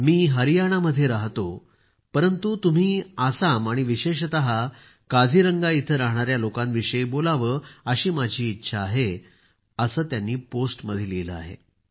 मी हरियाणामध्ये राहतो परंतु तुम्ही आसाम आणि विशेषतः काझीरंगा येथे राहणाऱ्या लोकांविषयी बोलावे अशी माझी इच्छा आहे असे त्यांनी पोस्ट मध्ये लिहिले आहे